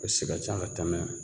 E si ka ca ka tɛmɛ